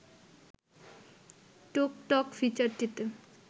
টোক টক ফিচারটিতে